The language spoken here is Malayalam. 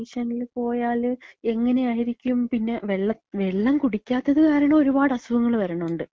ഈ കൺഡീഷൻല് പോയാല് എങ്ങെനായിരിക്കും പിന്നെ വെള്ള, വെള്ളം കുടിക്യാത്തത് കാരണം ഒരുപാട് അസുഖങ്ങള് വ രണൊണ്ട്. ങേ,